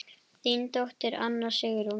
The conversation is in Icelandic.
Þín dóttir, Anna Sigrún.